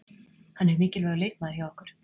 Hann er mikilvægur leikmaður hjá okkur.